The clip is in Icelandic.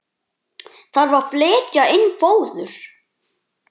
Þarf að flytja inn fóður?